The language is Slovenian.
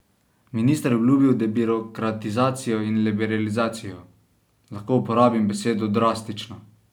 Minister je obljubil debirokratizacijo in liberalizacijo: "Lahko uporabim besedo drastično.